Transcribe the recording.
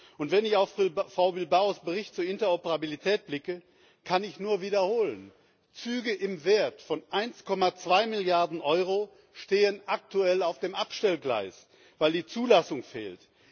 Und wenn ich auf Frau Bilbaos Bericht über die Interoperabilität blicke, kann ich nur wiederholen Züge im Wert von 1,2 Milliarden Euro stehen aktuell auf dem Abstellgleis, weil die Zulassung fehlt.